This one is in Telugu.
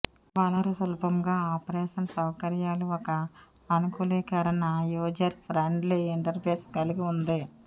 వనరు సులభంగా ఆపరేషన్ సౌకర్యాలు ఒక అనుకూలీకరణ యూజర్ ఫ్రెండ్లీ ఇంటర్ఫేస్ కలిగి ఉంది